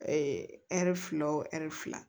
ɛri fila o ɛri fila